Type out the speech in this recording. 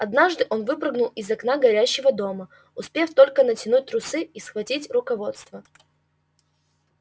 однажды он выпрыгнул из окна горящего дома успев только натянуть трусы и схватить руководство